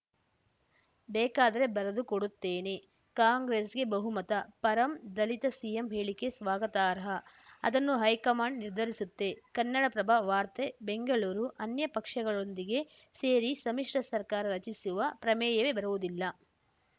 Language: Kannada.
ಬೇಕಾದ್ರೆ ಬರೆದುಕೊಡುತ್ತೇನೆ ಕಾಂಗ್ರೆಸ್‌ಗೆ ಬಹುಮತ ಪರಂ ದಲಿತ ಸಿಎಂ ಹೇಳಿಕೆ ಸ್ವಾಗತಾರ್ಹ ಅದನ್ನು ಹೈಕಮಾಂಡ್‌ ನಿರ್ಧರಿಸುತ್ತೆ ಕನ್ನಡಪ್ರಭ ವಾರ್ತೆ ಬೆಂಗಳೂರು ಅನ್ಯ ಪಕ್ಷಗಳೊಂದಿಗೆ ಸೇರಿ ಸಮ್ಮಿಶ್ರ ಸರ್ಕಾರ ರಚಿಸುವ ಪ್ರಮೇಯವೇ ಬರುವುದಿಲ್ಲ